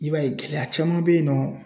I b'a ye gɛlɛya caman bɛ yen nɔ ,